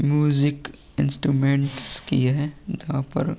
music instruments किए है जहाँ पर --